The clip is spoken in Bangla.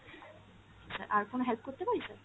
sir আর কোন help করতে পারি sir?